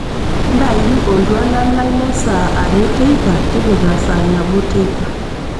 ntayu oltuala lai lesaa are teipa tipika saa nabo teipa